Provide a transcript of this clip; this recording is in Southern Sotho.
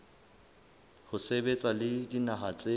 ho sebetsa le dinaha tse